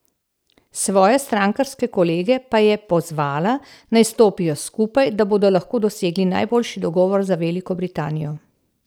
Svoje strankarske kolege pa je pozvala, naj stopijo skupaj, da bodo lahko dosegli najboljši dogovor za Veliko Britanijo.